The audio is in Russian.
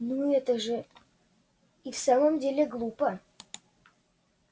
ну это же и в самом деле глупо